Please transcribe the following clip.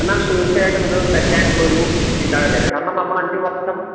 എന്നാൽ തീർച്ചയായിട്ടും ഇത് തെറ്റായിട്ടുള്ള ഒരു ചിന്താഗതിയാണ് കാരണം നമ്മള് അഞ്ചുവർഷം